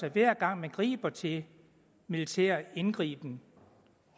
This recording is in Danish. at hver gang man griber til militær indgriben